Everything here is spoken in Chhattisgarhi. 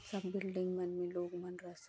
सब बिल्डिंग मन में लोग मन रस--